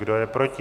Kdo je proti?